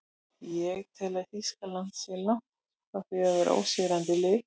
Ég tel að Þýskaland sé langt frá því að vera ósigrandi lið.